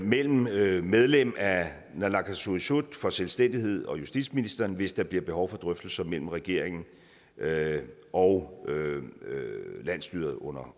mellem mellem medlem af naalakkersuisut for selvstændighed og justitsministeren hvis der bliver behov for drøftelser mellem regeringen og landsstyret undervejs